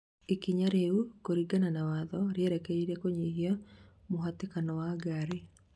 ikinya rĩu, kuringana na watho rĩerekeire kunyihia muhatĩkano wa ngari